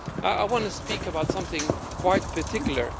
I want to speak about something quite particular.